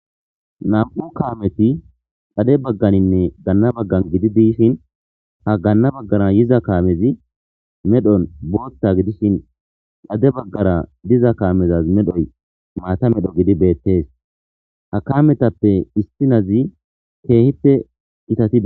nam7u kaameti xade bagganinne ganna baggan gidi dishin ha gaanna baggara yiza kaamezi medhon bootta gidishin lade baggara diza kaamezaz medhoy maata medho gidi beettees hakametappe istinazi keehife gitatides